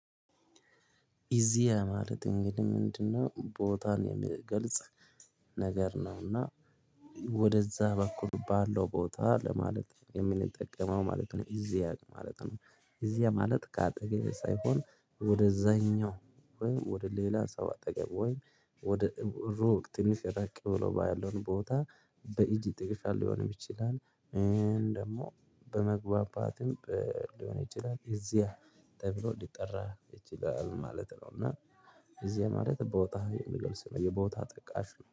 እዚህ ማለት እንግዲህ ምንድነው? ቦታን የሚገልጽ ነገር ነውና። ወደዛ በኩል ባለው ቦታ ለማለት የምንጠቀመው ማለት ነው። እዚህ ማለት ነው፣ እዚያ ማለት ከአጠገቤ ሳይሆን ወደዛኛው ወይ ወደ ሌላ ሰው አጠገብ ወይ ወደ ሩቅ፣ ትንሽ እራቅ ብሎ ባለው ቦታ፣ በእጅ ጥቅሻ ሊሆንም ይችላል። ደግሞ በመግባባትም ሊሆን ይችላል። እዚያ ተብሎ ሊጠራ ይችላል ማለት ነው እና እዚያ ማለት ቦታ የሚገልጽ ነው። የቦታ ጠቃሽ ነው።